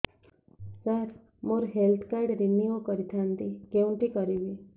ସାର ମୋର health card renew କରିଥାନ୍ତି କେଉଁଠି କରିବି